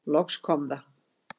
Loks kom það.